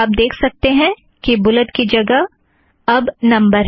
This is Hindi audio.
और आप देख सकते हैं कि बुलेट की जगह में नंबर है